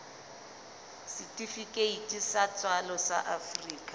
setifikeiti sa tswalo sa afrika